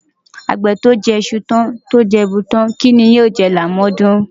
Àgbè tó jẹ iṣu tán tó jẹ èèbù tán, kí ni yóò jẹ lámọ̀ọ́dún?